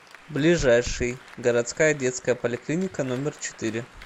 ближайший городская детская поликлиника номер четыре